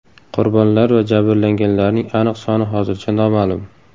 Qurbonlar va jabrlanganlarning aniq soni hozircha noma’lum.